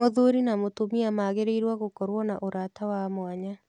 Mũthuri na mũtumia magĩrĩirũo gũkorũo na ũrata wa mwanya.